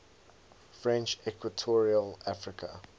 french equatorial africa